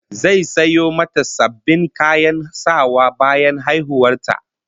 Zai sayo mata sabbin kayan sawa bayan haihuwar ta